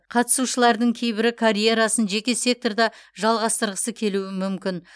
қатысушылардың кейбірі карьерасын жеке секторда жалғастырғысы келуі мүмкін